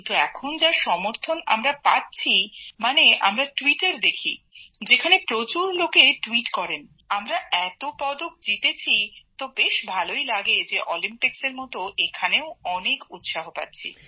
কিন্তু এখন যা উৎসাহ আমরা পাচ্ছি মানে আমরা টুইট দেখি যেখানে প্রচুর লোকে টুইট করেন আমরা এত পদক জিতেছি তো বেশ ভালই লাগে যে অলিম্পিক্সের মত এখানেও অনেক উৎসাহ পাচ্ছি